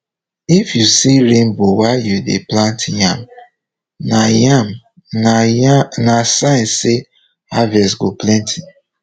if you see rainbow while you dey plant yam na yam na sign say harvest go plenty